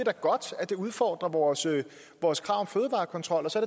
er godt at det udfordrer vores vores krav om fødevarekontrol og så